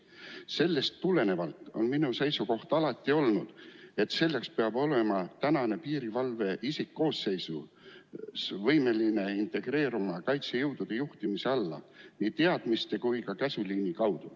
Sellest tulenevalt on minu seisukoht alati olnud, et piirivalve isikkoosseis peab olema võimeline integreeruma kaitsejõudude juhtimise alla ka käsuliini kaudu.